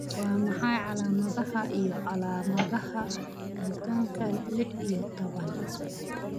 Waa maxay calaamadaha iyo calaamadaha Dystonka lix iyo tobnaad